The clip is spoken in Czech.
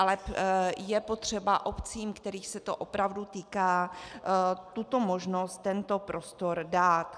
Ale je potřeba obcím, kterých se to opravdu týká, tuto možnost, tento prostor dát.